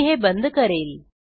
मी हे बंद करेल